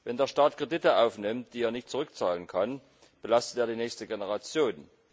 Wenn der Staat Kredite aufnimmt, die er nicht zurückzahlen kann, belastet er die nächste Generation.